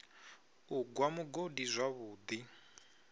u gwa mugodi zwavhu ḓi